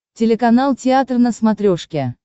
телеканал театр на смотрешке